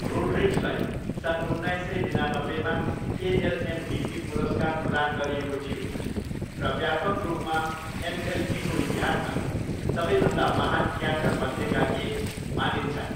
रोड्रिग्जलाई सन् उन्नाइस सय निनानब्बेमा एएल एमभिपी पुरस्कार प्रदान गरिएको थियो र व्यापक रूपमा एमएलबीको इतिहासमा सबैभन्दा महान क्याचरमध्येका एक मानिन्छन्।